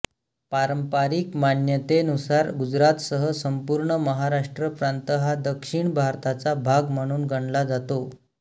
पारंपरिक मान्यतेनुसार गुजरातसह संपूर्ण महाराष्ट्र प्रांत हा दक्षिण भारताचा भाग म्हणून गणला जातो